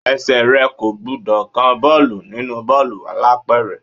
Ẹsẹ̀ rẹ kò gbúdọ̀ kan bọ́ọ̀lù nínú bọ́ọ̀lù alápẹ̀rẹ̀.